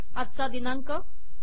आजचा दिनांक